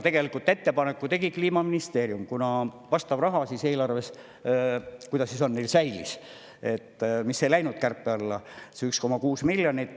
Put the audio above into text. Tegelikult ettepaneku tegi Kliimaministeerium, kuna vastav raha eelarves neil säilis, see 1,6 miljonit ei läinud kärpe alla.